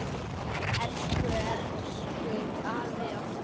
Elsku, elsku afinn okkar.